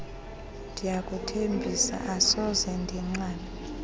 ndiyakuthembisa asoze ndinqabe